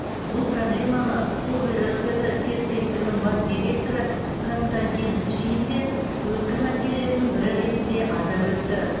бұл проблеманы когер лтд серіктестігінің бас директоры константин шин де өткір мәселелердің бірі ретінде атап өтті